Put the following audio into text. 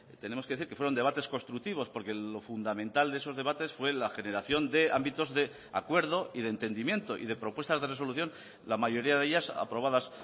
tenemos que decir que fueron debates constructivos porque lo fundamental de esos debates fue la generación de ámbitos de acuerdo y de entendimiento y de propuestas de resolución la mayoría de ellas aprobadas